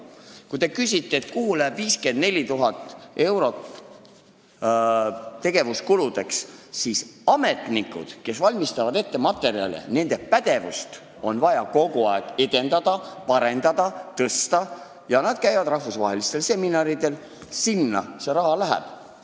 Kui te küsite, kuhu läheb 54 000 tegevuskuludeks mõeldud eurot, siis ma vastan, et nende ametnike pädevust, kes valmistavad ette materjale, on vaja kogu aeg edendada, parendada ja tõsta ning nad käivad rahvusvahelistel seminaridel – sinna see raha läheb.